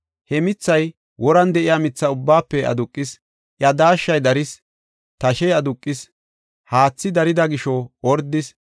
He mithay woran de7iya mitha ubbaafe aduqis; iya daashshay daris; tashey aduqis; haathi darida gisho ordis.